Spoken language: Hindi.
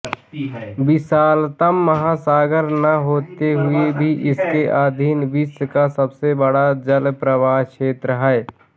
विशालतम महासागर न होते हुए भी इसके अधीन विश्व का सबसे बड़ा जलप्रवाह क्षेत्र है